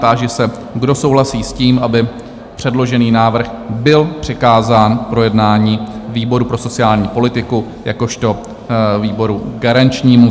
Táži se, kdo souhlasí s tím, aby předložený návrh byl přikázán k projednání výboru pro sociální politiku jakožto výboru garančnímu?